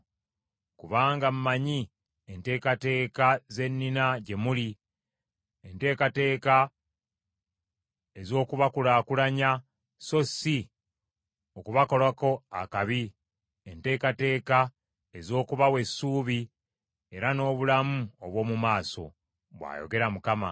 Kubanga mmanyi enteekateeka ze nnina gye muli, enteekateeka ez’okubakulaakulanya so si okubakolako akabi, enteekateeka ez’okubawa essuubi era n’obulamu obw’omu maaso,” bw’ayogera Mukama .